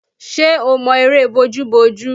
Ṣe o mọ eré bojú-bojú?